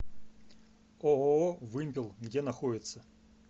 ооо вымпел где находится